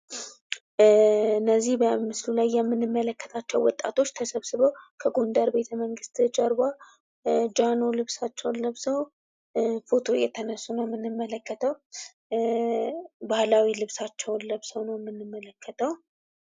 እነዚህ በምስሉ የምንመለከታቸው ወጣቶች ተሰብስበው ከጎንደር ቤተመንግስት ጀርባ ጃኖ ልብሳቸውን ለብሰው ፎቶ እየተነሱ ነው ምንመለከተው። ባህላዊ ልብሳቸውን ለብሰው ነው ምንመለከተው።